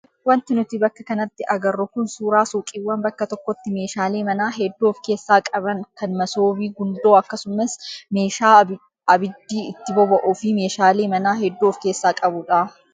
Wanti nuti bakka kanatti agarru kun suuraa suuqiiwwan bakka tokkotti meeshaalee manaa hedduu of keessaa qaban kan masoobii, gundoo akkasumas meeshaa abiddi itti boba'uu fi meeshaalee manaa hedduu of keessaa qabudha.